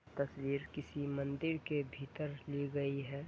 तस्वीर किसी मंदिर के भीतर ली गई है।